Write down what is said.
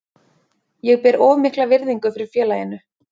Ég ber of mikla virðingu fyrir félaginu.